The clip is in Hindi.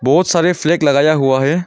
बहुत सारे फ्लैग लगाया हुआ है।